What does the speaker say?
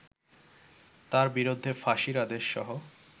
তার বিরুদ্ধে ফাঁসির আদেশসহ